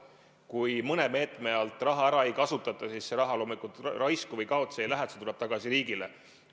Kui mõne meetme alt raha ära ei kasutata, siis see raha loomulikult raisku või kaotsi ei lähe, see tuleb tagasi riigile.